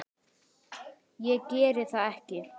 Ég geri það ekki.